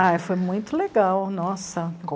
Ai, foi muito legal, nossa.